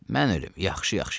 Mən ölüm, yaxşı-yaxşı yaz.